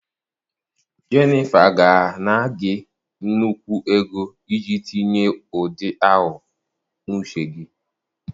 Jennifer ga-ana gị nnukwu ego iji tinye ụdị ahụ n'uche gị.